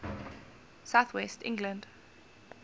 south west england